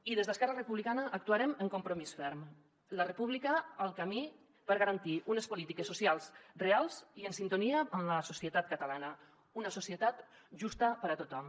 i des d’esquerra republicana actuarem amb compromís ferm la república el camí per garantir unes polítiques socials reals i en sintonia amb la societat catalana una societat justa per a tothom